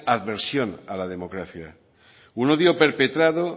aversión a la democracia un odio perpetrado